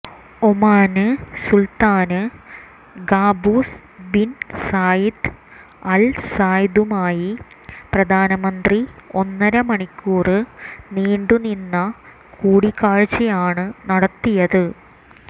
ഒമാന് സുല്ത്താന് Qaboos bin Said അല് സയ്ദുമായി പ്രധാനമന്ത്രി ഒന്നര മണിക്കൂര് നീണ്ടുനിന്ന കൂടിക്കാഴ്ചയാണ് നടത്തിയത്